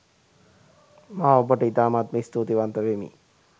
මා ඔබට ඉතාමත්ම ස්තුති වන්ත වෙමි.